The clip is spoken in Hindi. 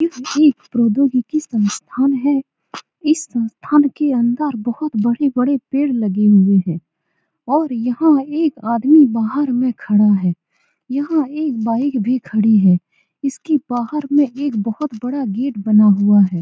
इसमें प्रोध्योगिकी संस्थान है इस संस्थान के अंदर बहुत बड़े-बड़े पेड़ लगे हुए हैं और यहाँ एक आदमी बहार में खड़ा है यहाँ एक बाइक भी खड़ी है इसके बाहर में एक बहुत बड़ा गेट बना हुआ है।